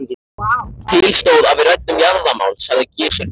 Til stóð að við ræddum jarðamál, sagði Gizur biskup.